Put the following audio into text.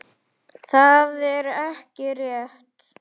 Það er ekki rétt.